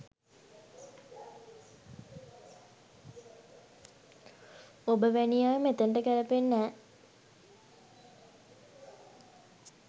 ඔබ වෑනි අය මෙතනට ගෑලපෙන්නෙ නෑ